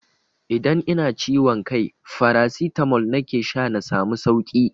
Idan ina ciwon kai farasitamol nake sha na samu sauki.